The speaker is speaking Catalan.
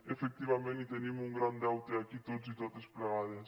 efectivament hi tenim un gran deute aquí tots plegats i totes